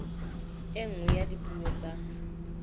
e nngwe ya dipuo tsa